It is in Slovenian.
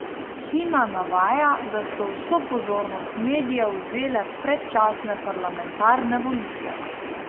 Hina navaja, da so vso pozornost medijev vzele predčasne parlamentarne volitve.